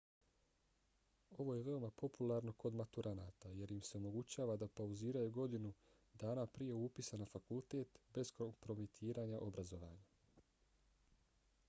ovo je veoma popularno kod maturanata jer im se omogućava da pauziraju godinu dana prije upisa na fakultet bez kompromitiranja obrazovanja